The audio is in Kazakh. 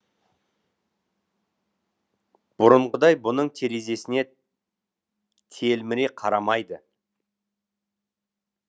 бұрынғыдай бұның терезесіне телміре қарамайды